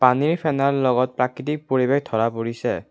পানীৰ ফেনাৰ লগত প্ৰাকৃতিক পৰিৱেশ ধৰা পৰিছে।